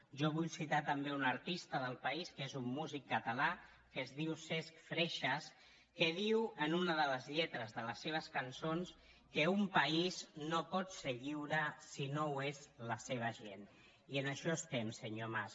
jo vull citar també un artista del país que és un músic català que es diu cesk freixas que diu en una de les lletres de les seves cançons que un país no pot ser lliure si no ho és la seva gent i en ai·xò estem senyor mas